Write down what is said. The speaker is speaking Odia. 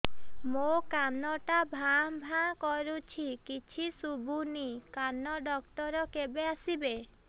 ମୋ କାନ ଟା ଭାଁ ଭାଁ କରୁଛି କିଛି ଶୁଭୁନି କାନ ଡକ୍ଟର କେବେ ଆସିବେ